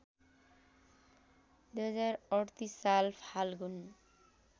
२०३८ साल फाल्गुन